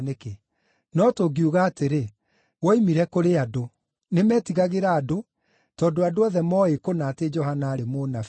No tũngiuga atĩrĩ, ‘Woimire kũrĩ andũ’ ….” (Nĩmetigagĩra andũ, tondũ andũ othe mooĩ kũna atĩ Johana aarĩ mũnabii.)